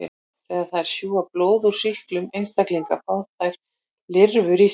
Þegar þær sjúga blóð úr sýktum einstaklingi fá þær lirfur í sig.